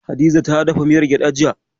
Hadiza ta dafa miyar gyaɗa, jiya.